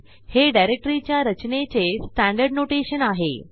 हे डिरेक्टरीच्या रचनेचे स्टँडर्ड नोटेशन आहे